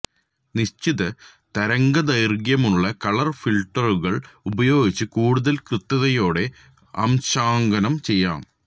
നിശ്ചിത തരംഗദൈർഘ്യമുള്ള കളർ ഫിൽറ്ററുകൾ ഉപയോഗിച്ച് കൂടുതൽ കൃത്യതയോടെ അംശാങ്കനം ചെയ്യാം